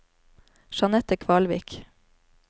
Jeanette Kvalvik